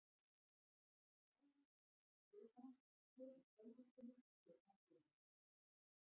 Nánar er rætt við hana hér í sjónvarpinu hér að ofan.